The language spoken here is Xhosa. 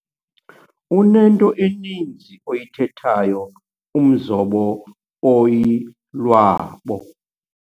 Unento eninzi oyithethayo umzobo oyilwabo.